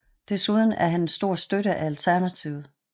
Desuden er han en stor støtte af Alternativet